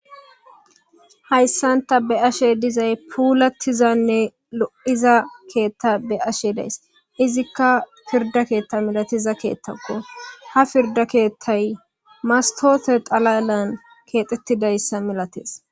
Haysan ta be7ashe dizay pulatizaynne lo7iza keeta be7ashe daysi. izika pirde ketha maliza keththako. ha pirde keththay mastote xalalan kexettidaysa malates.